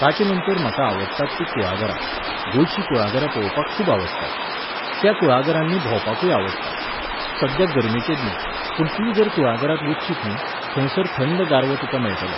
ताचेनंतर म्हाका आवडटात तीं कुळागरां. गोंयचीं कुळागरां पळोवपाक खूब आवडटात. त्या कुळागरांनी भोंवपाकूय आवडटा. सध्या गरमेचे दीस, पूण तूं जर कुळागरांत वचशीत न्ही, थंयसर थंड गारवो तुका मेळटलो